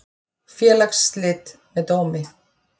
Félagsslit með dómi.